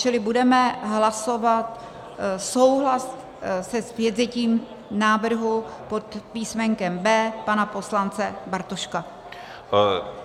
Čili budeme hlasovat souhlas se zpětvzetím návrhu pod písmenkem B pana poslance Bartoška.